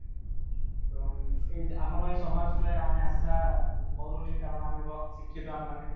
ଏବଂ ଆମର ଏଇ ଯୋଉ ସମାଜ କୁ ଆମେ ଆଶା କରୁନି କାରଣ ଆମେ ଶିକ୍ଷିତ ଆମେମାନେ